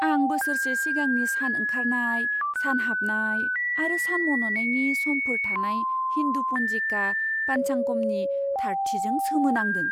आं बोसोरसे सिगांनि सान ओंखारनाय, सान हाबनाय आरो सान मन'नायनि समफोर थानाय हिन्दु पन्जिखा पानचांगमनि थारथिजों सोमोनांदों।